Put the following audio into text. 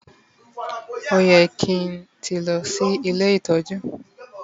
oye kin ti lo si ile itoju